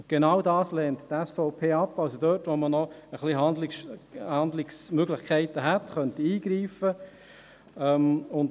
Genau dies lehnt die SVP ab, also das, womit man noch etwas Handlungsmöglichkeiten hätte und eingreifen könnte.